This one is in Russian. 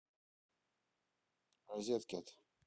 розеткед